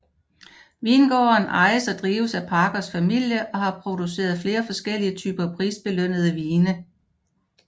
Vingården ejes og drives af Parkers familie og har produceret flere forskellige typer prisbelønnede vine